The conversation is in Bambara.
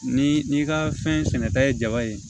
Ni n'i ka fɛn sɛnɛta ye jaba ye